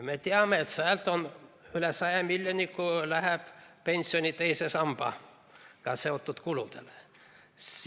Me teame, et üle 100 miljoni läheb pensioni teise sambaga seotud kuludele.